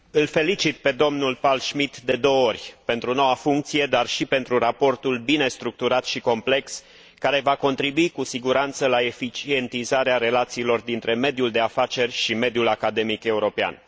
Îl felicit pe domnul Pál Schmitt de două ori pentru noua funcție, dar și pentru raportul bine structurat și complex, care va contribui cu siguranță la eficientizarea relațiilor dintre mediul de afaceri și mediul academic european.